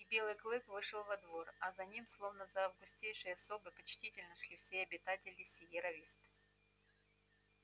и белый клык вышел во двор а за ним словно за августейшей особой почтительно шли все обитатели сиерра висты